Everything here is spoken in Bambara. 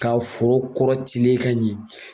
' foro kɔrɔ tilen ka ɲɛ